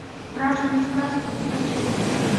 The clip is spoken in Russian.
страшные сказки скачай